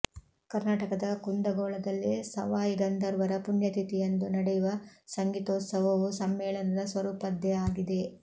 ಕರ್ನಾಟಕದ ಕುಂದಗೋಳದಲ್ಲಿ ಸವಾಯಿಗಂಧರ್ವರ ಪುಣ್ಯತಿಥಿಯಂದು ನಡೆಯುವ ಸಂಗೀತೋತ್ಸವವೂ ಸಮ್ಮೇಳನದ ಸ್ವರೂಪದ್ದೇ ಆಗಿದೆ